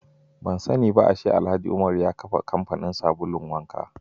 Ban sani ba ashe Alhaji Umar ya kafa kamfanin yin sabulun wanka.